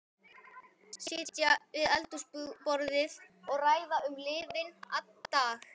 Sitja við eldhúsborðið og ræða um liðinn dag.